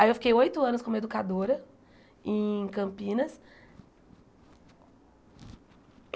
Aí eu fiquei oito anos como educadora em Campinas.